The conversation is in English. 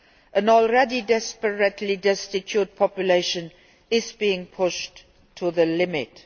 An already desperately destitute population is being pushed to the limit.